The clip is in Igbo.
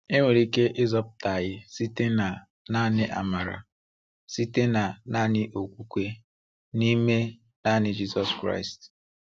E nwere ike ịzọpụta anyi site na naani amara, site na naani okwukwe, n’ime naani Jizọs Kraịst.